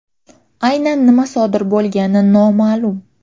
Aynan nima sodir bo‘lgani noma’lum.